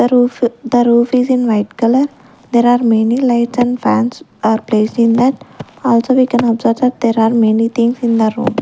the roof the roof is in white colour there are many lights and fans are placed in that also we can observe that there are many things in the room.